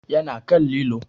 Ya na kan lilo